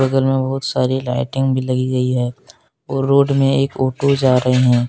बगल में बहुत सारी लाइटिंग भी लगी गई है और रोड में एक ऑटो जा रहे --